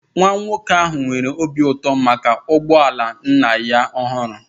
Nwa nwoke ahụ nwere obi ụtọ maka ụgbọ ala nna ya ọhụrụ